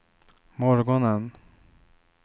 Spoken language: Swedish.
morgonen